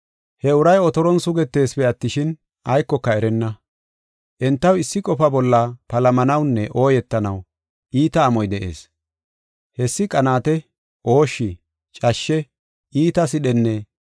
He uray otoron sugeteesipe attishin, aykoka erenna. Entaw issi qofa bolla palamanawunne ooyetanaw iita amoy de7ees. Hessi qanaate, ooshshi, cashshe, iita sidhenne,